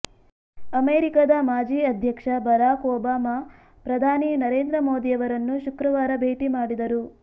ಅಮೆರಿಕದ ಮಾಜಿ ಅಧ್ಯಕ್ಷ ಬರಾಕ್ ಒಬಾಮ ಪ್ರಧಾನಿ ನರೇಂದ್ರ ಮೋದಿಯವರನ್ನು ಶುಕ್ರವಾರ ಭೇಟಿ ಮಾಡಿದರು